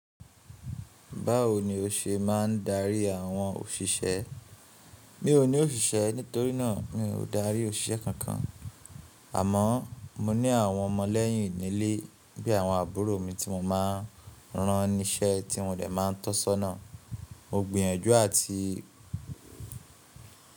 Báwo ni o ṣe máa ń darí àwọn òṣìṣẹ́? Mi ò ní òṣìṣẹ́ nítorí náà mi ò dárí òṣìṣẹ́ kankan. Àmọ́ mo ní àwọn ọmọ lẹ́yìn nílé bí àwọn àbúrò mi tí mo máa ń rán ni iṣẹ́ tí wọ́n dẹ̀ máa ń tọ́sọ́nà. Mo gbìyànjú àti.